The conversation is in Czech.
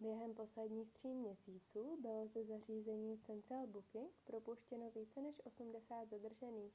během posledních tří měsíců bylo ze zařízení central booking propuštěno více než 80 zadržených